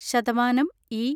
ശതമാനം ഈ